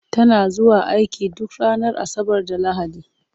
Tana zuwa aiki duk ranar Asabar da Lahadi.